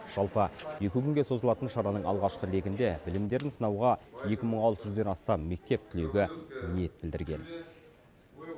жалпы екі күнге созылатын шараның алғашқы легінде білімдерін сынауға екі мың алты жүзден астам мектеп түлегі ниет білдірген